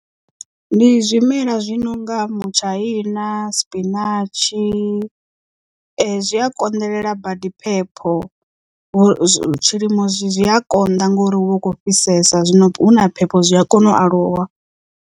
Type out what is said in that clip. Ndi zwimela zwi nonga mutshaina spinatshi zwi a konḓelela badi phepho tshilimo zwi a konḓa ngori hu vha hu khou fhisesa zwino hu na phepho zwi a kona u aluwa.